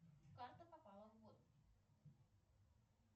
карта попала в воду